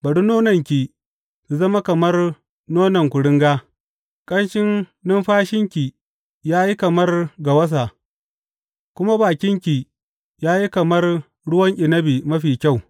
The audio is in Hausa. Bari nonanki su zama kamar nonna kuringa, ƙanshin numfashinki ya yi kamar gawasa, kuma bakinki ya yi kamar ruwan inabi mafi kyau.